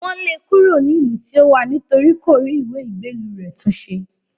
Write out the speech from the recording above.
Wọ́n lé e kúrò ní ìlú tí ó wà nítorí kò rí ìwé ìgbélú rẹ̀ tún ṣe